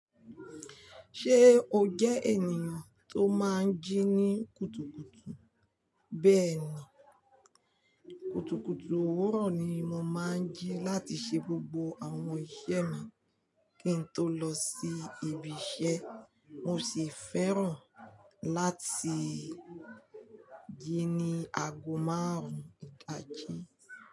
Ṣé o jẹ́ ènìyàn tó máa ń jí ní kùtùkùtù? Bẹ́ẹ̀ni, kùtùkùtù òwúrọ̀ ni mo máa ń jí láti ṣe gbogbo àwọn iṣẹ́ mi kí n tó lọ sí ibi iṣẹ́. Mo sì fẹ́ràn láti jí ní aago márùn-ún ìdájí.